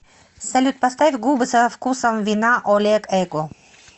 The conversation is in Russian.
салют поставь губы со вкусом вина олег эго